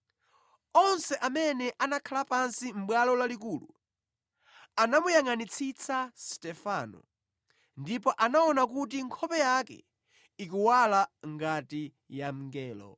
Onse amene anakhala pansi Mʼbwalo Lalikulu anamuyangʼanitsitsa Stefano, ndipo anaona kuti nkhope yake ikuwala ngati ya mngelo.